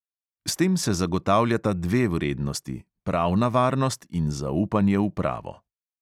S tem se zagotavljata dve vrednosti, pravna varnost in zaupanje v pravo.